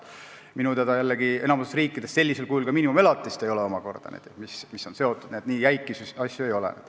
Minu teada enamikus riikides sellisel kujul seotud miinimumelatist ei ole, st nii jäiku asju ei ole.